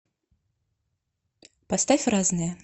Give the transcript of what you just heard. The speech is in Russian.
поставь разное